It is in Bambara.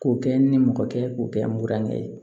K'o kɛ n nimɔgɔkɛ ye k'o kɛ n murankɛ ye